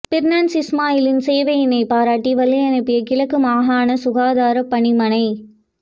பிர்னாஸ் இஸ்மாயிலின் சேவையினை பாராட்டி வழியனுப்பிய கிழக்கு மாகாண சுகாதாரப் பணிமனை